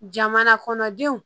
Jamana kɔnɔdenw